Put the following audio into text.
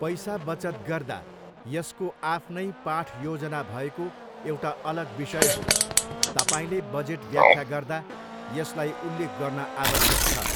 पैसा बचत गर्दा यसको आफ्नै पाठयोजना भएको एउटा अलग विषय हो, तपाईँले बजेट व्याख्या गर्दा यसलाई उल्लेख गर्न आवश्यक छ।